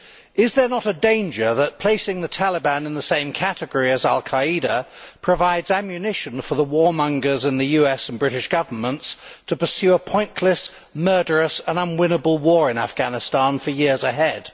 Is there not a danger that placing the Taliban in the same category as al Qaeda provides ammunition for the warmongers in the US and British Governments to pursue a pointless, murderous and unwinnable war in Afghanistan for years ahead?